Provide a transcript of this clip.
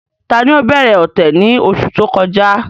Tani ó bẹ̀rẹ̀ ọ̀tẹ̀ ni oṣù tó kọjá?